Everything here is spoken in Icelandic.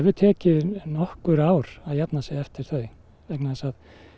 tekið nokkur ár að jafna sig eftir þau vegna þess að